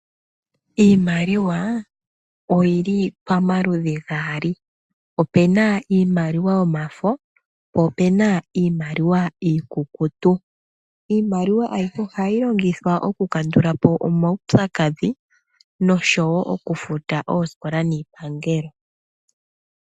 Iimaliwa oyili pamaludhi gaali, opena iimaliwa yomafo, po opena iimaliwa iikukutu. Iimaliwa ayihe ohayi longithwa okukandulapo omaupyakadhi nosho wo okufuta oosikola niipangelo.